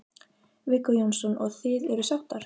Viggó Jónsson: Og, og þið eruð sáttar?